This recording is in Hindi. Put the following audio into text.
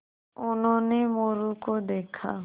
उन्होंने मोरू को देखा